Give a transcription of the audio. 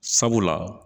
Sabula